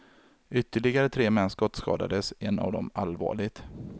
Ytterligare tre män skottskadades, en av dem allvarligt.